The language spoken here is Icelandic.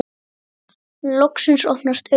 Loksins opnast augu þeirra.